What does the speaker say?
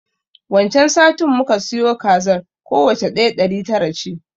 Wan can satin muka siyo kazar, kowacce ɗaya ɗari tara ce.